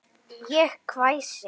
Ég hvæsi.